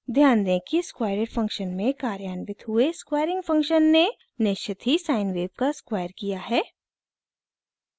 ध्यान दें कि squareit फंक्शन में कार्यान्वित हुए स्क्वैरिंग फंक्शन ने निश्चित ही साइन वेव का स्क्वायर किया है